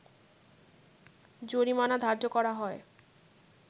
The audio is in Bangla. জরিমানা ধার্য করা হয়